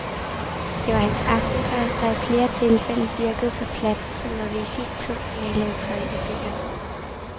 Det var hans aftentøj, der i flere tilfælde virkede så fladt, som når vi i sin tid malede tøj i bøgerne.